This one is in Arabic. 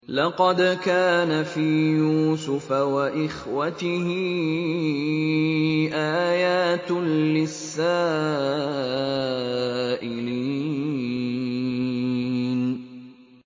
۞ لَّقَدْ كَانَ فِي يُوسُفَ وَإِخْوَتِهِ آيَاتٌ لِّلسَّائِلِينَ